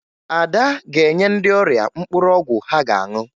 Ada ga-enye ndị ọrịa mkpụrụ ọgwụ ha ga-aṅụ